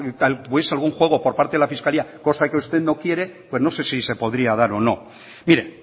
si hubiese algún juego por parte de la fiscalía cosa que usted no quiere pues no sé si podría dar o no mire